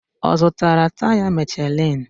Ọ zụtara taya Michelin?